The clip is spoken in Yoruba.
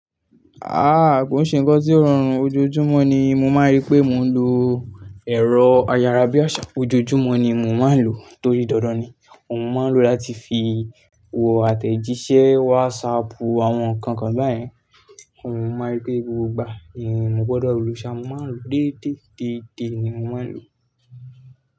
Ah kò ṣe nǹkan tí ó rọrùn, ojoojúmọ́ ni mo máa rí pé mò ń lo ẹ̀rọ ayára bí àsá, ojoojúmọ́ ni mò ń máa ń lò ó torí dandan ni. Mo máa ń lò ó láti fi wọ àtẹ̀jíṣẹ́ WhatsAppù àwọn nǹkan kan báyẹn. Mo máa rí pé gbogbo ìgbà ni mo gbọdọ̀ losa, mo máa ń lò déédé, déédé ni mo máa ń lò.